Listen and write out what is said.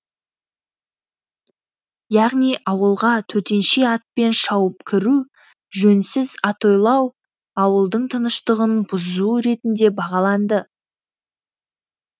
яғни ауылға төтенше атпен шауып кіру жөнсіз атойлау ауылдың тыныштығын бұзу ретінде бағаланды